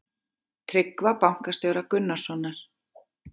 Tryggva bankastjóra Gunnarssonar.